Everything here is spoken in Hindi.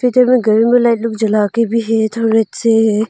घर में लाइट लोग जला के भी है थोड़े से।